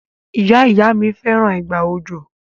Ìyá-ìyá-mi fẹ́ràn ìgbà òjò.